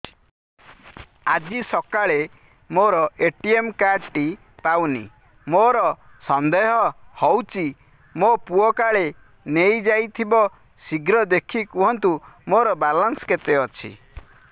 ଆଜି ସକାଳେ ମୋର ଏ.ଟି.ଏମ୍ କାର୍ଡ ଟି ପାଉନି ମୋର ସନ୍ଦେହ ହଉଚି ମୋ ପୁଅ କାଳେ ନେଇଯାଇଥିବ ଶୀଘ୍ର ଦେଖି କୁହନ୍ତୁ ମୋର ବାଲାନ୍ସ କେତେ ଅଛି